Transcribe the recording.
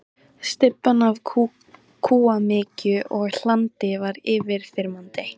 Stybban af kúamykju og hlandi var yfirþyrmandi.